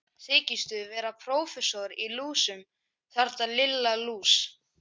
Þykistu vera prófessor í lúsum, þarna Lilla lús!